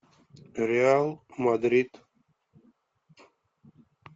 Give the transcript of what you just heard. реал мадрид